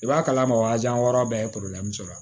I b'a kalama waji wɔɔrɔ bɛɛ ye sɔrɔ